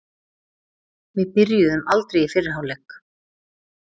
Við byrjuðum aldrei í fyrri hálfleik.